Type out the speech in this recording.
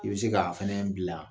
I bɛ se k'a fana bila.